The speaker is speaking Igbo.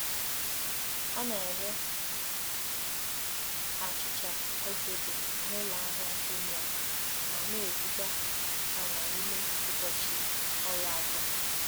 Ọ na-ere achịcha ogede n’ụlọ ahịa Jumia ma na-ebuga ha n’ime ụbọchị ọrụ atọ.